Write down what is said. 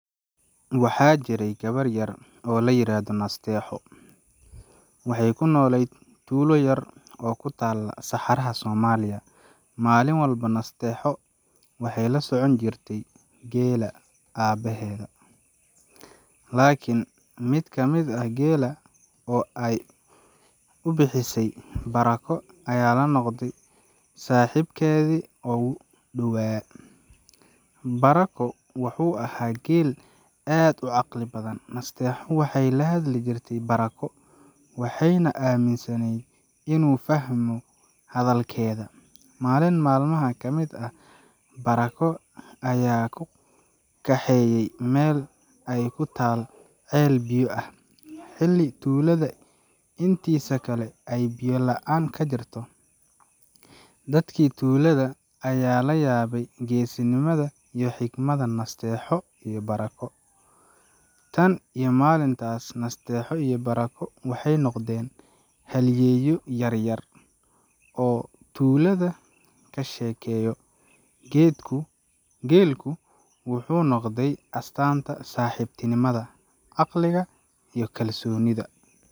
Waxaa jiray gabar yar oo la yiraahdo Nasteexo. Waxay ku nooleyd tuulo yar oo ku taalla saxaraha Soomaaliya. Maalin walba, Nasteexo waxay la socon jirtay geela aabaheed, laakiin mid kamid ah geela, oo ay u bixisay "Barako", ayaa noqday saaxiibkeedii ugu dhowaa. Barako wuxuu ahaa geel aad u caqli badan. Nasteexo waxay la hadli jirtay Barako, waxayna aaminsaneyd in uu fahmo hadalkeeda. Maalin maalmaha ka mid ah, Barako ayaa u kaxeeyey meel ay ku taal ceel biyo ah, xilli tuulada intiisa kale ay biyo la’aan ka jirto. Dadkii tuulada ayaa la yaabay geesinimada iyo xigmadda Nasteexo iyo Barako. Tan iyo maalintaas, Nasteexo iyo Barako waxay noqdeen halyeeyo yar yar oo tuulada ka sheekeeyo. Geelku wuxuu noqday astaanta saaxiibtinimada, caqliga, iyo kalsoonida.